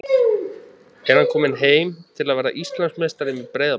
Er hann kominn heim til að verða Íslandsmeistari með Breiðabliki?